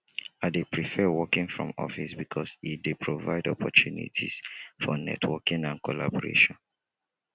i dey prefer working from office because e dey provide opportunities for networking and collaboration